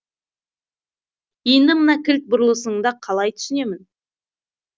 енді мына кілт бұрылысыңды қалай түсінемін